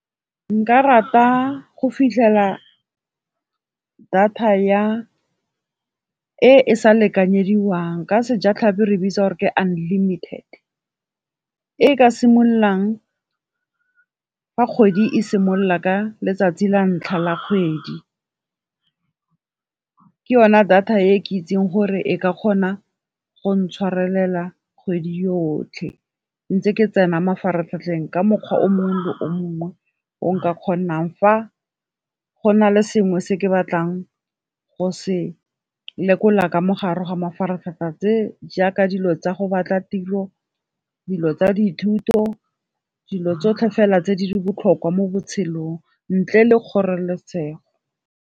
Nka rata go fitlhela data e e sa lekanyediwang ka sejatlhapi re bitsa gore ke unlimited. E e ka simololang fa kgwedi e simolola ka letsatsi la ntlha la kgwedi. Ke yone data e ke itseng gore e ka kgona go ntshwarelela kgwedi yotlhe, ntse ke tsena mafaratlhatlheng ka mokgwa o mongwe le o mongwe o nka kgonang fa go na le sengwe se ke batlang go se lekola ka mogare ga mafaratlhatlha tse jaaka dilo tsa go batla tiro, dilo tsa dithuto, dilo tsotlhe fela tse di botlhokwa mo botshelong, ntle le kgoreletsego.